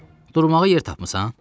Durmağa yer tapmısan?